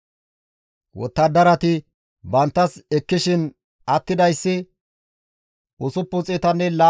Wottadarati banttas ekkishin attidayssi, 675,000 dorsatanne deyshata,